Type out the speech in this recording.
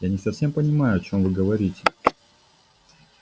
я не совсем понимаю о чем вы говорите